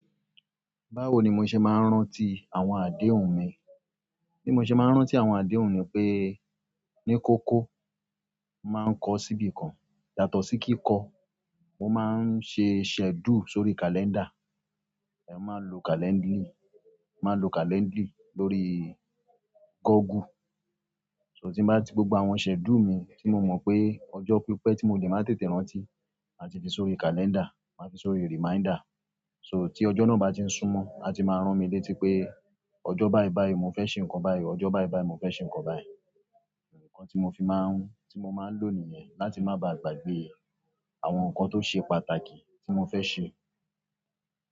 Báwo ni mo ṣe máa ń rántí àwọn àdéhùn mi? Bí mo ṣe máa ń rántí àwọn àdéhùn ni pé ní kókó máa ń kọ́ ṣíbí kan yàtọ̀ sí kíkọ. Mo máa ń ṣe schedule sórí calendar. Mo máà ń lo calendri máa ń lo calendri lórí google so tí bá ti gbogbo àwọn schedule mi tí mo mọ̀ pé ọjọ́ pípẹ́ tí mo lè máa tètè rántí, a ti fi sọ́rí calendar, màá fi sọ́rí reminder. So tí ọjọ́ náà bá ti ń súmọ́, a ti máa ń ràn mí létí pé ọjọ́ báyi báyi mo fẹ́ ṣe nǹkan báyi, ọjọ́ báyi báyi mo fẹ́ ṣe nǹkan báyi. Òun kan tí mo fi máa ń, tí mo máa ń lò nìyẹn láti má bá gbàgbé àwọn nǹkan tó ṣe pàtàkì tí mo fẹ́ ṣe.